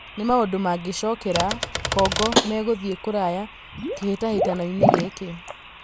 Na maũndũ mangĩ cokera, Kongo megũthiĩ kũraya kĩ hĩ tahĩ tanoinĩ gĩ kĩ .